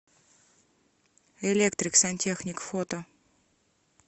электрик сантехник фото